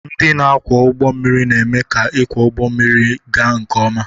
Ndị na-akwọ ụgbọ mmiri na-eme ka ịkwọ ụgbọ mmiri ga nke ọma.